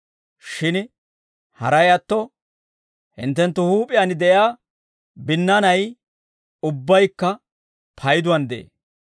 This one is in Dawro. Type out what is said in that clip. Shin haray atto, hinttenttu huup'iyaan de'iyaa binnaanay ubbaykka payduwaan de'ee.